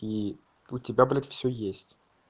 и у тебя блять все есть